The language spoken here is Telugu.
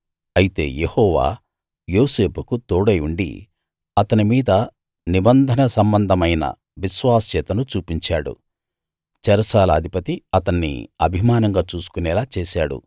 అయితే యెహోవా యోసేపుకు తోడై ఉండి అతని మీద నిబంధన సంబంధమైన విశ్వాస్యతను చూపించాడు చెరసాల అధిపతి అతన్ని అభిమానంగా చూసుకోనేలా చేశాడు